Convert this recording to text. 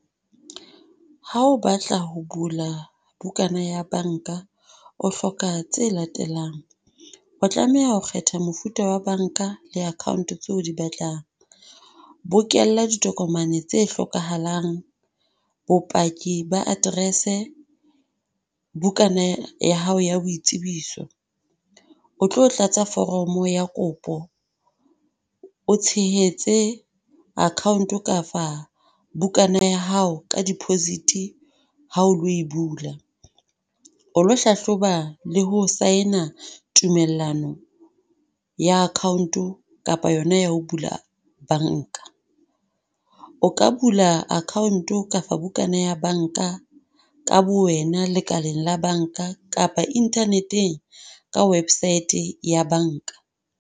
Ha o batla ho bula bukana ya banka, o hloka tse latelang. O tlameha ho kgetha mofuta wa banka le account tseo di batlang. Bokella ditokomane tse hlokahalang, bopaki ba aterese, bukana ya hao ya boitsebiso. O tlo tlatsa foromo ya kopo, o tshehetse akhanto ka fa bukana ya hao ka deposit ha o lo bula. O lo hlahloba le ho saena tumellano ya akhaonto kapa yona ya ho bula banka. O ka bula aakhaonto kapa bukana ya banka ka bowena lekaleng la banka kapa internet-eng ka website ya banka.